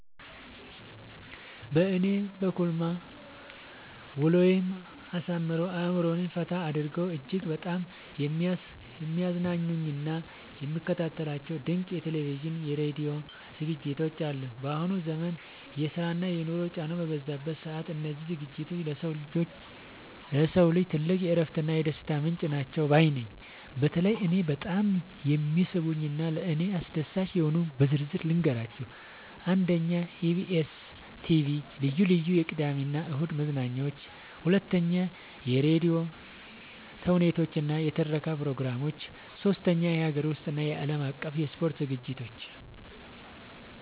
በእኔ በኩልማ ውሎዬን አሳምረው፣ አእምሮዬን ፈታ አድርገው እጅግ በጣም የሚያዝናኑኝና የምከታተላቸው ድንቅ የቴሌቪዥንና የራዲዮ ዝግጅቶች አሉኝ! ባሁኑ ዘመን የስራና የኑሮ ጫናው በበዛበት ሰዓት፣ እነዚህ ዝግጅቶች ለሰው ልጅ ትልቅ የእረፍትና የደስታ ምንጭ ናቸው ባይ ነኝ። በተለይ እኔን በጣም የሚስቡኝንና ለእኔ አስደሳች የሆኑትን በዝርዝር ልንገራችሁ፦ 1. የኢቢኤስ (EBS TV) ልዩ ልዩ የቅዳሜና እሁድ መዝናኛዎች 2. የራዲዮ ተውኔቶችና የትረካ ፕሮግራሞች 3. የሀገር ውስጥና የዓለም አቀፍ የስፖርት ዝግጅቶች